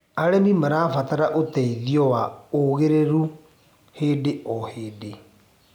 Arĩmĩ marabatara ũteĩthĩo wa ũgĩrĩrũ hĩndĩ o hĩndĩ